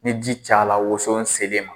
Ni ji caya la woson selen ma